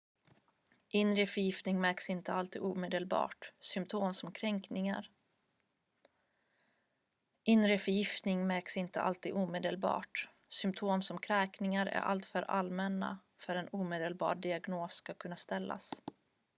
inre förgiftning märks inte alltid omedelbart symptom som kräkningar är alltför allmänna för att en omedelbar diagnos ska kunna ställas